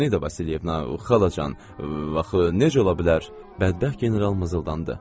Antonida Vasilyevna, o xalacan, bax, necə ola bilər, bədbəxt general mızıldandı.